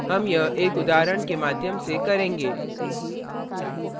हम यह एक उदाहरण के माध्यम से करेंगे